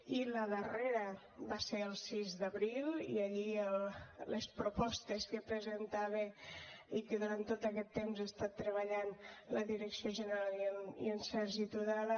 i la darrera va ser el sis d’abril i allí les propostes que presentava i que durant tot aquest temps ha estat treballant la direcció general i en sergi tudela